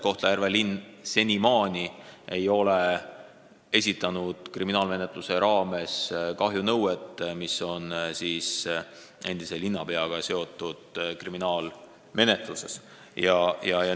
Kohtla-Järve linn ei ole senimaani esitanud kriminaalmenetluse raames kahjunõuet endise linnapeaga seotud kriminaalmenetluse asjus.